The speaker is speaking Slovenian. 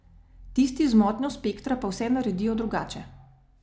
Tisti z motnjo spektra pa vse naredijo drugače.